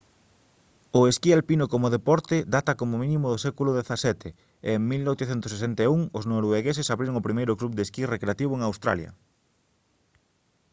o esquí alpino como deporte data como mínimo do século xvii e en 1861 os noruegueses abriron o primeiro club de esquí recreativo en australia